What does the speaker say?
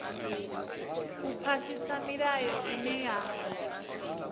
u phasisa milayo ine ya